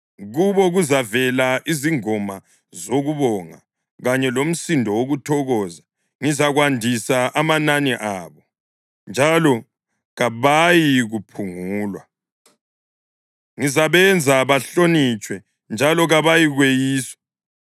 Kubo kuzavela izingoma zokubonga kanye lomsindo wokuthokoza. Ngizakwandisa amanani abo, njalo kabayikuphungulwa; ngizabenza bahlonitshwe, njalo kabayikweyiswa.